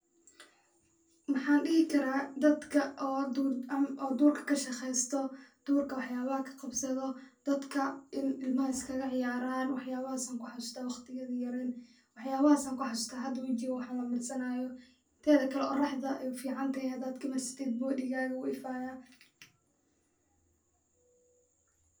Maxaan dihi karaa dadka oo duurka kashaqeesto, durka wax yaabaha kaqabsado, dadka in ilmaha iskaga ciyaaran, wax yaabahaas ayaan kuxasuusta waqtiyadi aan yareen, hada wajiga wax lamarsanaayo, teeda kale oraxda ayeey ufican tahay inaad kamarsatid body gaaga wuu ifaaya.